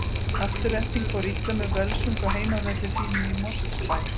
Afturelding fór illa með Völsung á heimavelli sínum í Mosfellsbæ.